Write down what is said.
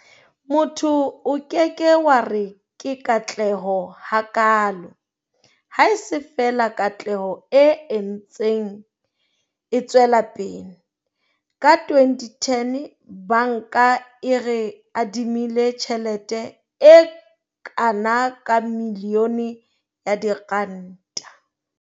Motho o ke ke wa re ke katleho hakaalo, haese feela katleho e ntseng e tswela pele. Ka 2010 banka e re adimile tjhelete e kana ka milione ya diranta.